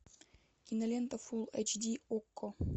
кинолента фул эйч ди окко